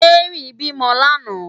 Mary bi mò làná